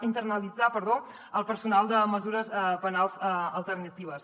internalitzar perdó el personal de mesures penals alternatives